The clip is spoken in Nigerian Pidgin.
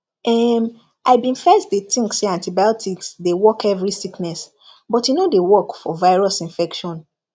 erm i bin first dey think say antibiotics dey work every sickness but e no dey work for virus infection